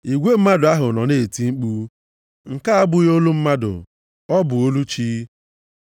Igwe mmadụ ahụ nọ na-eti mkpu, “Nke a abụghị olu mmadụ, ọ bụ olu chi!”